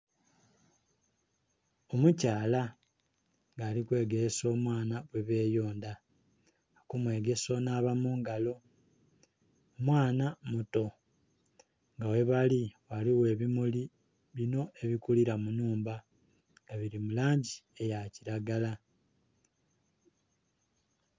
Omukyala nga alikwegelesa omwana ghebeyonda, okumwegesa okunaaba mu ngalo, mwana omuto. Nga ghebali ghaligho ebimuli bino ebikulira mu nnhumba nga bili mu langi eya kilagala.